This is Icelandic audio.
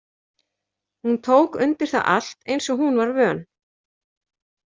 Hún tók undir það allt eins og hún var vön.